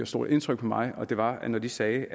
stort indtryk på mig og det var når de sagde ikke